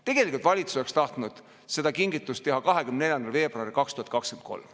Tegelikult valitsus oleks tahtnud seda kingitust teha 24. veebruaril 2023.